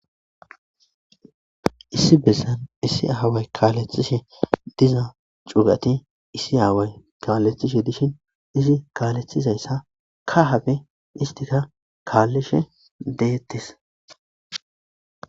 Issi bessan issi aaway kaalethishe diza cuugati issi aaway kaalethishe dishin izi kaalethizayssa ka habe istika kaallishe deettis.